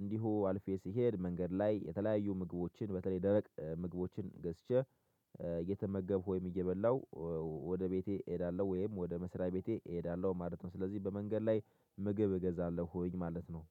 እንዲሁ አልፌ ስሄድ መንገድ ላይ የተለያዩ ምግቦችን በተለይ ደረቅ ምግቦችን ገዝቼ እየተመገብኩ ወይም እየበላሁ ወደ ቤቴ እሄዳለሁ ወይም ወደ መስሪያ ቤቴ እሄዳለሁ ማለት ነው። ስለዚህ በመንገድ ላይ ምግብ እገዛለሁኝ ማለት ነው።